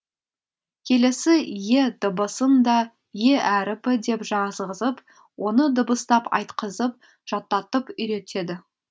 келесі е дыбысын да е әріпі деп жазғызып оны дыбыстап айтқызып жаттатып үйретеді